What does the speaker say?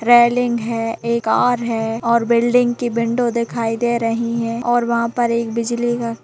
railing है एक car है और बिल्डिंग की विंडो दिखाई दे रही है और वहाँ पर एक बिजली का --